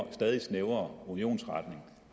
en stadig snævrere union